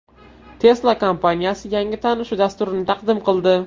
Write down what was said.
Tesla kompaniyasi yangi tanishuv dasturini taqdim qildi.